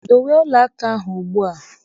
Dowe ọla aka ahụ ugbu a!